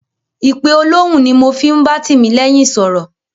Ìpe olóhùn ni mo fi ń bá Tìmílẹ́yìn sọ̀rọ̀.